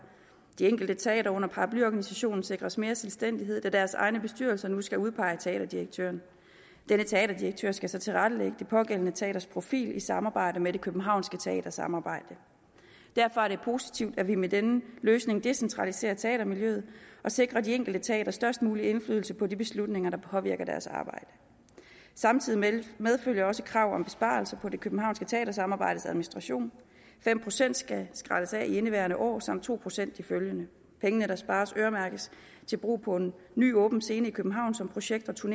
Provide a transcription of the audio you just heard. de enkelte teatre under paraplyorganisationen sikres mere selvstændighed da deres egne bestyrelser nu skal udpege teaterdirektøren denne teaterdirektør skal så tilrettelægge det pågældende teaters profil i samarbejde med det københavnske teatersamarbejde derfor er det positivt at vi med denne løsning decentraliserer teatermiljøet og sikrer de enkelte teatre størst mulig indflydelse på de beslutninger der påvirker deres arbejde samtidig medfølger også et krav om besparelser på det københavnske teatersamarbejdes administration fem procent skal skrælles af i indeværende år samt to procent i det følgende pengene der spares øremærkes til brug på en ny åben scene i københavn som projektteatre